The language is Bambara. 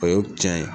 O ye tiɲɛ ye